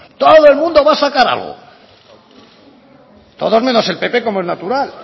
todo el mundo va a sacar algo todos menos el pp como es natural